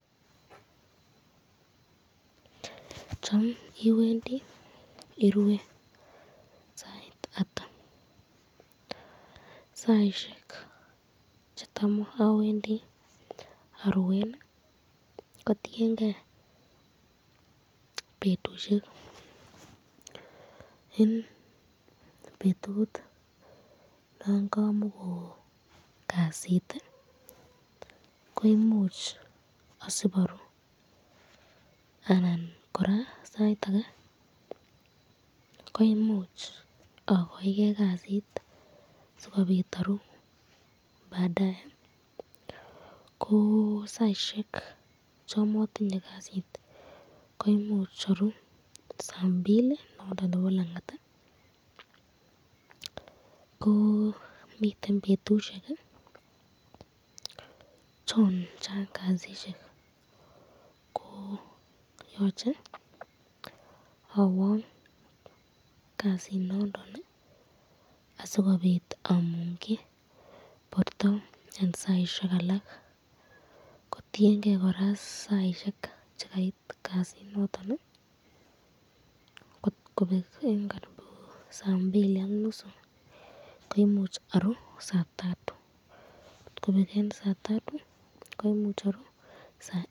Cham iwendi irue sait ata, saisyek chetam awendi aruen ko tienke betushek, eng betut nakamakoo kasit koimuch asib aruu ,sait ake koimuch akaike kasit sikobit aruu baadaye ko saisyek chon matinye kasit koimuch aruu saa mbili nondon nebo langat ko miten betushek chon Chang kasit ko yoche awang kasit nondon ,asikobit amungyi borta eng saisyek alak, ko tienke koraa saisyek chekait kasinondon .